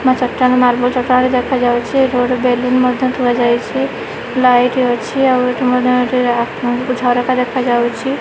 ପୁରୁଣା ଚଟାଣ ମାର୍ବଲ ଚଟାଣ ଦେଖାଯାଉଛି ଏଠି ଗୋଟେ ବେଲୁନ ମଧ୍ୟ ଥୁଆ ଯାଇଛି ଲାଇଟ୍ ଅଛି ଆଉ ଏଠି ମଧ୍ୟ ଏଠି ଝରକା ଦେଖାଯାଉଛି।